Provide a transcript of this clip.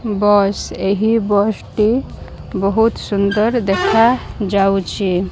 ବସ ଏହି ବସଟି ବୋହୁତ ସୁନ୍ଦର ଦେଖାଯାଉଛି।